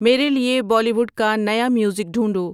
میرے لیے بالی ووڈ کا نیا میوزک ڈھونڈو